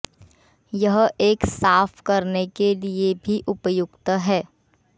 यह एक साफ करने के लिए भी उपयुक्त है